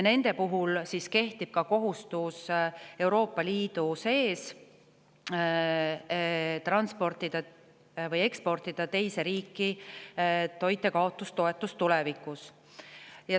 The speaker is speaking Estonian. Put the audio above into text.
Nende puhul kehtib Euroopa Liidu sees kohustus transportida või eksportida toitjakaotustoetus tulevikus teise riiki.